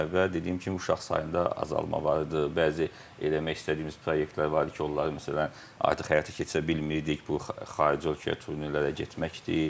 Və dediyim kimi, uşaq sayında azalma var idi, bəzi eləmək istədiyimiz proyektlər var idi ki, onları məsələn artıq həyata keçirə bilmirdik, bu xarici ölkəyə turnirlərə getməkdir.